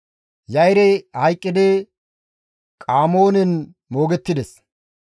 Ya7irey hayqqidi Qaamonen moogettides.